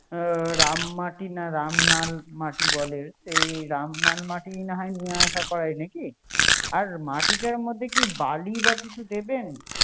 এ রাম মাটি রামনাল মাটি বলে এ রামনাল মাটি না হয় নিয় আসাইয়া করে দিখি। আর মাটিার মধ্যে কি বালি বা কিছু দিবেন